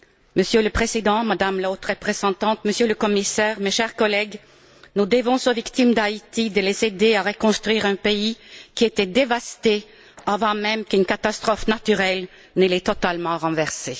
Monsieur le Président, Madame la Haute représentante, Monsieur le Commissaire, chers collègues, nous devons aux victimes d'Haïti de les aider à reconstruire un pays qui était dévasté avant même qu'une catastrophe naturelle ne l'ait totalement renversé.